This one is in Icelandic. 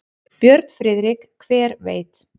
Björn Friðrik: Hver veit.